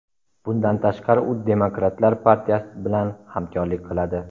Bundan tashqari, u Demokratlar partiyasi bilan hamkorlik qiladi.